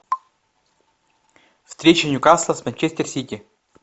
встреча ньюкасла с манчестер сити